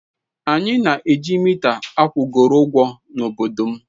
Anyị na-eji mita akwụgoro ụgwọ n'obodo m.